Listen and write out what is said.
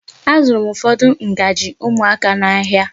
Azụrụ m ụfọdụ ngaji ụmụaka n'ahia.